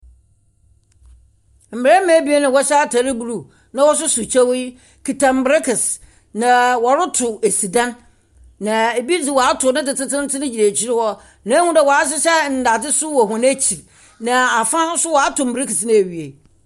Mmarima ebien a wɔhyɛ atar blue na wɔsoso kyɛw yi kuta mberekese, na wɔretow esi dan, na ebi dze wɔato ne dze tsentseentsen gyina ekyir hɔ. Mehu dɛ wɔahyehyɛ ndadze nso wɔ hɔn ekyir, na fa nso wɔato mberekese no ewie.